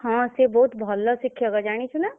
ହଁ ସିଏ ବହୁତ୍ ଭଲ ଶିକ୍ଷକ ଜାଣିଛୁ ନା।